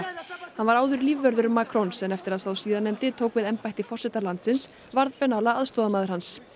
hann var áður lífvörður Macrons en eftir að sá síðarnefndi tók við embætti forseta landsins varð Benalla aðstoðarmaður hans